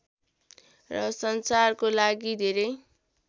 र सञ्चारको लागि धेरै